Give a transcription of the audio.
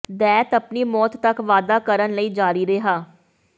ਦੈਤ ਆਪਣੀ ਮੌਤ ਤਕ ਵਾਧਾ ਕਰਨ ਲਈ ਜਾਰੀ ਰਿਹਾ